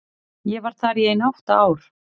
Ég var þar í ein átta ár.